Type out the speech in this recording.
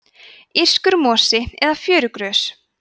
írskur mosi eða fjörugrös